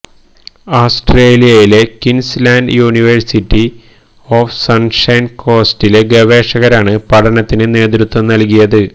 ആസ്ട്രേലിയയിലെ Queensland university of sunshine കോസ്റ്റിലെ ഗവേഷകരാണ് പഠനത്തിന് നേതൃത്വം നല്കിയത്